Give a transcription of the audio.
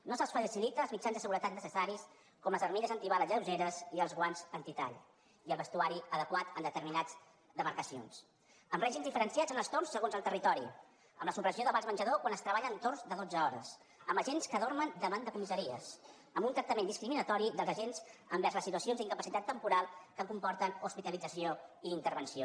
no se’ls faciliten els mitjans de seguretat necessaris com les armilles antibales lleugeres i els guants antitall i el vestuari adequat en determinades demarcacions amb règims diferenciats en els torns segons el territori amb la supressió de vals menjador quan es treballa en torns de dotze hores amb agents que dormen davant de comissaries amb un tractament discriminatori dels agents envers les situacions d’incapacitat temporal que comporten hospitalització i intervenció